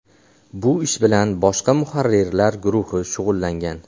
Bu ish bilan boshqa muharrirlar guruhi shug‘ullangan.